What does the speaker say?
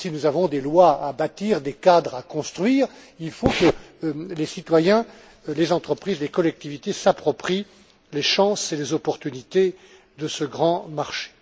même si nous avons des lois à bâtir, des cadres à construire, il faut que les citoyens, les entreprises, les collectivités s'approprient les chances et les opportunités de ce grand marché.